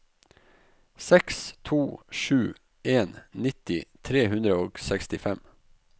seks to sju en nitti tre hundre og sekstifem